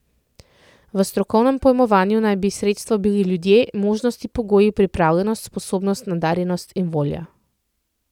V strokovnem pojmovanju naj bi sredstvo bili ljudje, možnosti, pogoji, pripravljenost, sposobnost, nadarjenost in volja.